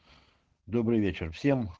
добрый вечер всем